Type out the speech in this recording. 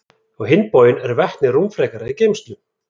Á hinn bóginn er vetni rúmfrekara í geymslu.